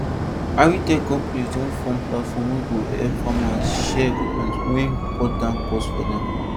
agritech companies don form platform wey go help farmers share equipment wey go cut down cost for dem